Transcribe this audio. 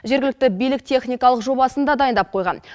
жергілікті билік техникалық жобасын да дайындап қойған